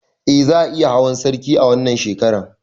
Eh za ayi hawan sarki a wannan shekaran